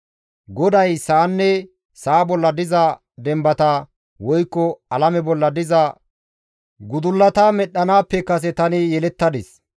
GODAY sa7anne sa7a bolla diza dembata woykko alame bolla diza gudullata medhdhanaappe kase tani yelettadis.